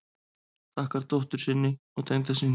Þakkar dóttur sinni og tengdasyni